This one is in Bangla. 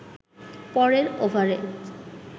পরের ওভারে